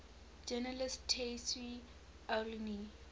journalist tayseer allouni